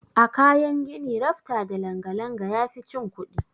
A kayan gini rafta da langa-langa yafi cin kuɗi.